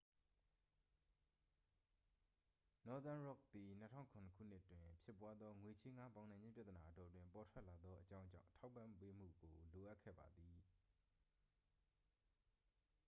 နော့သန်းရော့ခ် သည် 2007 ခုနှစ်တွင်ဖြစ်ပွားသော ငွေချေးငှားပေါင်နှံခြင်းပြဿနာအတောအတွင်း ပေါ်ထွက်လာသောအကြောင်းကြောင့် ထောက်ပံ့ပေးမှုကို လိုအပ်ခဲ့ပါသည်